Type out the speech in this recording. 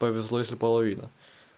повезло если половина